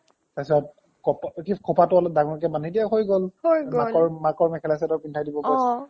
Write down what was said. তাৰ পাছত খোপাটো অলপ ডাঙৰকে বান্ধি দিয়ে হৈ গ'ল মাকৰ মেখেলা চাডৰ পিন্ধাই দিব